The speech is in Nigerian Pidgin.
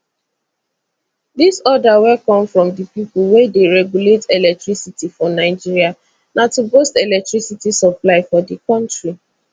dis order wey come from di pipo wey dey regulate electricity for nigeria na to boost electricity supply for di kontri